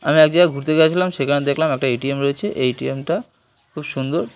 আমি এক জায়গায় ঘুরতে গেছিলাম সেখানে দেখলাম একটা এ.টি.এম. রয়েছে এই এ.টি.এম. টা খুব সুন্দর।